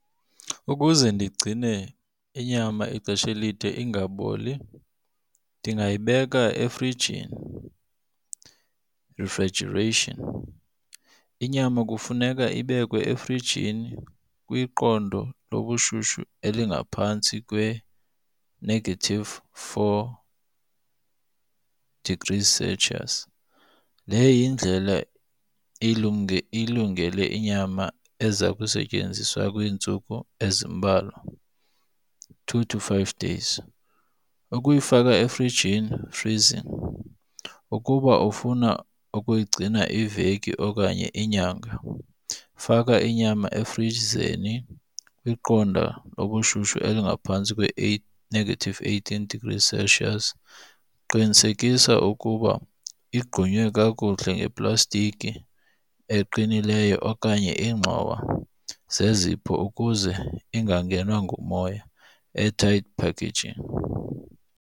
Ukuze ndigcine inyama ixesha elide ingaboli ndingayibeka efrijini, refrigeration. Inyama kufuneka ibekwe efrijini kwiqondo lobushushu elingaphantsi kwe-negative four degrees Celsius. Le yindlela ilungele inyama eza kusetyenziswa kwiintsuku ezimbalwa two to five days. Ukuyifaka efrijini freezing, ukuba ufuna ukuyigcina iveki okanye inyanga faka inyama efrizeni kwiqondo lobushushu elingaphantsi negative eighteen Celsius, qinisekisa ukuba igqunywe kakuhle ngeplastiki eqinileyo okanye ingxowa zezipho ukuze ingangenwa ngumoya. Airtight packaging.